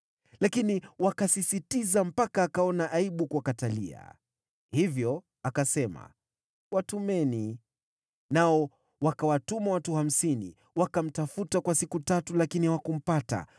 Lakini wakasisitiza, mpaka akaona aibu kuwakatalia. Hivyo akasema, “Watumeni.” Nao wakawatuma watu hamsini, wakamtafuta kwa siku tatu, lakini hawakumpata.